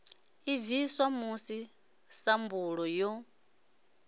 i bviswa musi sambulu yo